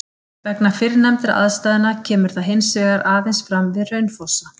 Vegna fyrrnefndra aðstæðna kemur það hins vegar aðeins fram við Hraunfossa.